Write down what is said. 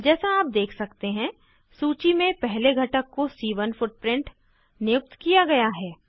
जैस आप देख सकते हैं सूची में पहले घटक को सी1 फुटप्रिंट नियुक्त किया गया है